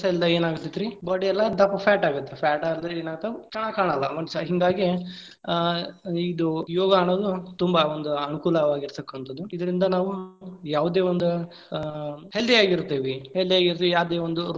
ಇಲ್ಲದಾಗ ಏನಾಕ್ಕೇತ್ರೀ body ಎಲ್ಲಾ ದಪ್ಪ fat ಆಗತ್ತ. fat ಅದ್ರೆ ಏನಾತ ಚೆನ್ನಾಗಿ ಕಾಣಲ್ಲಾ ಮನಷ್ಯಾ. ಹಿಂಗಾಗಿ ಆ ಇದು ಯೋಗಾ ಅನ್ನೋದು ತುಂಬಾ ಒಂದು ಅನುಕೂಲವಾಗಿರತಕ್ಕಹಂತದ್ದು. ಇದರಿಂದ ನಾವು ಯಾವದೇ ಒಂದ ಆ healthy ಯಾಗಿರತೇವಿ, healthy ಯಾಗಿರತೇವಿ, ಯಾವದೇ ಒಂದ್.